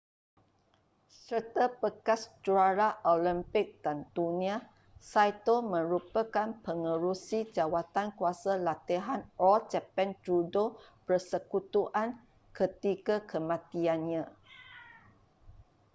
serta bekas juara olimpik dan dunia saito merupakan pengerusi jawatankuasa latihan all japan judo persekutuan ketika kematiannya